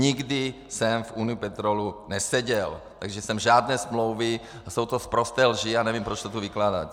Nikdy jsem v Unipetrolu neseděl, takže jsem žádné smlouvy - a jsou to sprosté lži, já nevím, proč to tu vykládáte.